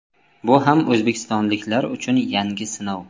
Bu ham o‘zbekistonliklar uchun yangi sinov.